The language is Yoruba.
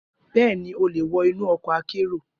Bẹẹni, o le wọ inu ọkọ akero